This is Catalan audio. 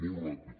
molt ràpid